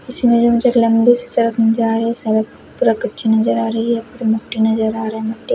लम्बी सी सडक नज़र आ रही हैं सड़क पूरा कच्ची नजर आ रही है पूरी मुठी नज़र आ रहा हैं मुठी--